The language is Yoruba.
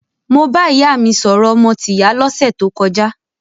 Mo bá ìyá mi sọ̀rọ̀ ọmọ tìyá lọ́sẹ̀ tó kọjá.